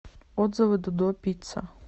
отзывы додо пицца